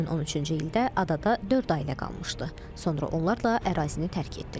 2013-cü ildə adada dörd ailə qalmışdı, sonra onlar da ərazini tərk etdilər.